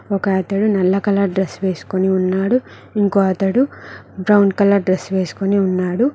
ఒక అతడు నల్ల కలర్ డ్రెస్ వేసుకుని ఉన్నాడు ఇంకో అతడు బ్రౌన్ కలర్ డ్రెస్ వేసుకుని ఉన్నాడు.